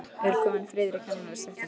Er kominn friður í kennarastéttinni?